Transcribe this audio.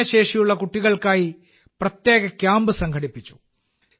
ഭിന്നശേഷിയുള്ള കുട്ടികൾക്കായി പ്രത്യേക ക്യാമ്പ് സംഘടിപ്പിച്ചു